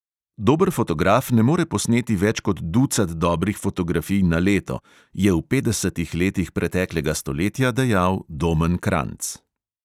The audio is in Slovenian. Dober fotograf ne more posneti več kot ducat dobrih fotografij na leto, je v petdesetih letih preteklega stoletja dejal domen kranjc.